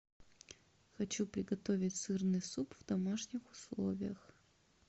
хочу приготовить сырный суп в домашних условиях